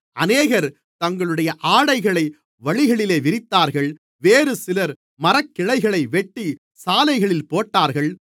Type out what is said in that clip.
அநேகர் தங்களுடைய ஆடைகளை வழியிலே விரித்தார்கள் வேறுசிலர் மரக்கிளைகளை வெட்டி சாலைகளில் போட்டார்கள்